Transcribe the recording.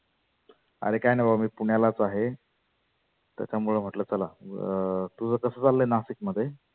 आरे काही नाही बाबा मी पुण्यालाच आहे. त्याच्यामुळ म्हटलं चला अं तुझं कसं चाललय नाशिक मध्ये?